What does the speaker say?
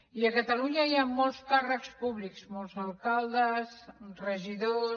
i a catalunya hi han molts càrrecs públics molts alcaldes regidors